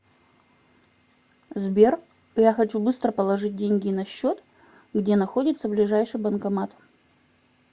сбер я хочу быстро положить деньги на счет где находится ближайший банкомат